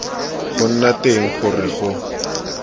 go nna teng gore go